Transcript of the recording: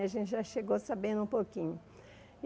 A gente já chegou sabendo um pouquinho.